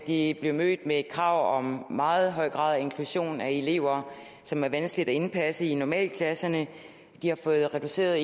de blev mødt med krav om en meget høj grad af inklusion af elever som er vanskelige at indpasse i normalklasserne de har fået reduceret